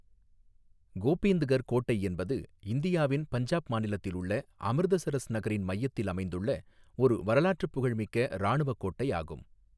கோபிந்த்கர் கோட்டை என்பது இந்தியாவின் பஞ்சாப் மாநிலத்தில் உள்ள அமிர்தசரஸ் நகரின் மையத்தில் அமைந்துள்ள ஒரு வரலாற்று புகழ்மிக்க இராணுவ கோட்டையாகும்.